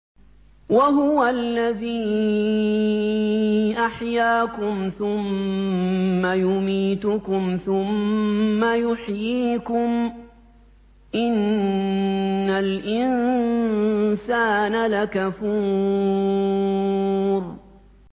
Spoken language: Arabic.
وَهُوَ الَّذِي أَحْيَاكُمْ ثُمَّ يُمِيتُكُمْ ثُمَّ يُحْيِيكُمْ ۗ إِنَّ الْإِنسَانَ لَكَفُورٌ